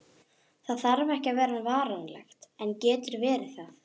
Það þarf ekki að vera varanlegt, en getur verið það.